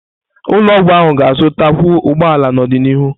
Ụlọ ọgwụ ahụ ga-azụtakwu ụgbọ ala n'ọdịnihu.